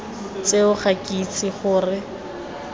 tseo ga ke itse gore